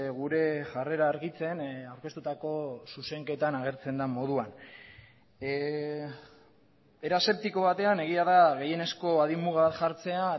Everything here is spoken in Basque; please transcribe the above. gure jarrera argitzen aurkeztutako zuzenketan agertzen den moduan era aseptiko batean egia da gehienezko adin muga bat jartzea